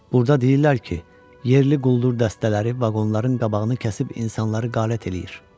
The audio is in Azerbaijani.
Burda deyirlər ki, yerli quldur dəstələri vaqonların qabağını kəsib insanları qalet eləyir.